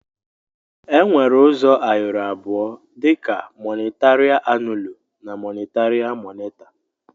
Enwere uzọ ayọrọ abụọ dika mọnitaria annụlụ na monitaria moneta.